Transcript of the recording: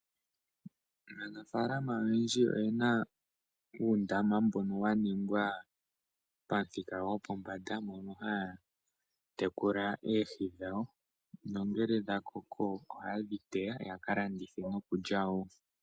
Aanafalama oyendji oye na uundama, mboka wa ningwa pamuthika gwopombanda, moka ha ya tekula oohi dhawo, nongele dha koko, oha ye dhi teya ya ka landithe nokulya wo.